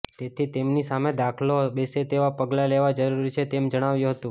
તેથી તેમની સામે દાખલો બેસે તેવા પગલાં લેવા જરૂરી છે તેમ જણાવ્યું હતું